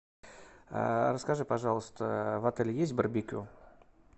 расскажи пожалуйста в отеле есть барбекю